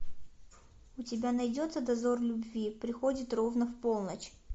у тебя найдется дозор любви приходит ровно в полночь